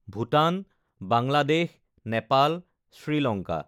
Bhutan, Bangladesh, Nepal, Sri Lanka